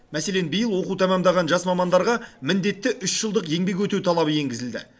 мәселен биыл оқу тәмамдаған жас мамандарға міндетті үш жылдық еңбек өтеу талабы енгізілді